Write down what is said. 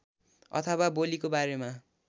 अथवा बोलीको बारेमा